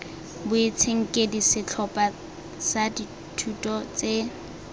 boitshenkedi setlhopha sa dithuto tse